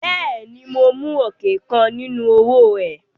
Bẹ́ẹ̀ ni, mo mú ọ̀kẹ́ kan nínú owó ẹ.